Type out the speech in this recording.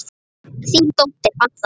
Þín dóttir, Adda.